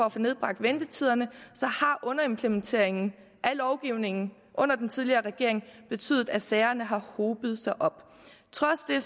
at få nedbragt ventetiderne har underimplementering af lovgivningen under den tidligere regering betydet at sagerne har hobet sig op trods det